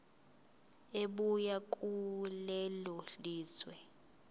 ebuya kulelo lizwe